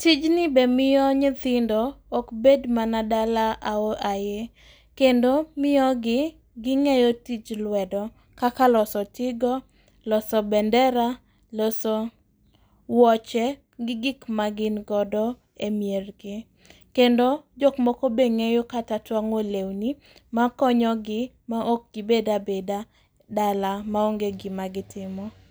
Tijni be miyo nyithindo okbed mana dala ao ae. Kendo miyo gi ging'eyo tijch luedo kaka loso tigo, loso bendera, loso wuoche gi gik magingodo e miergi. Kendo jokmoko be ng'eyo kata twang'o leuni makonyogi ma okgibedabeda dala maonge gima gitimo.